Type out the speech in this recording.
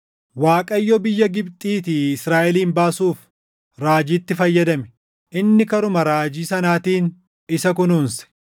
Waaqayyo biyya Gibxiitii Israaʼelin baasuuf // raajiitti fayyadame; inni karuma raajii sanaatiin isa kunuunse.